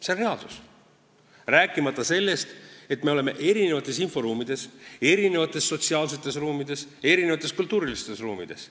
See on reaalsus, rääkimata sellest, et me oleme erinevates inforuumides, erinevates sotsiaalsetes ruumides, erinevates kultuuriruumides.